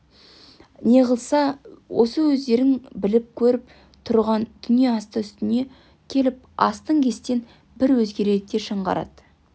неғылса осы өздерің біліп көріп тұрған дүние асты-үстіне келіп астан-кестен бір өзгереді де жаңғырады